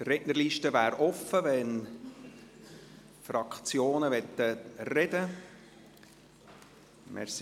Die Rednerliste wäre offen, wenn sich die Fraktionen äussern möchten.